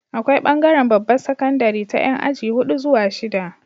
Akwai bangaran babbar sakandari ta Yan aji hudu zuwa shida